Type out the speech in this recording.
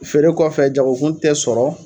Feere kɔfɛ jagokun tɛ sɔrɔ